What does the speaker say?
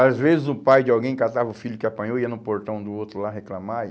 Às vezes o pai de alguém catava o filho que apanhou, ia no portão do outro lá reclamar. E